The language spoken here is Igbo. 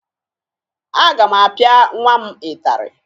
Aga m apịa nwa m ịtarị